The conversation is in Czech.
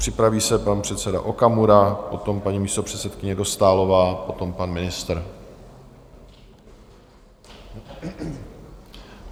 Připraví se pan předseda Okamura, potom paní místopředsedkyně Dostálová, potom pan ministr.